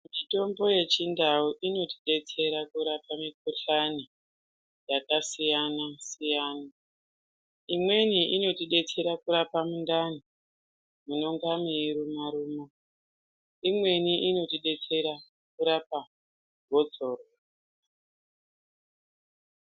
Mitombo yechindau inotidetsera kurapa mikuhlani yakasiyana siyana imweni inotidetsera kurapa mundani munenge meirima ruma imweni inotidetsera kurapa gotsorwa.